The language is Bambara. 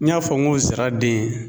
N y'a fɔ ŋo zira den